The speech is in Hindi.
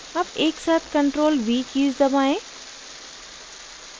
अब एकसाथ ctrl + v कीज़ दबाएं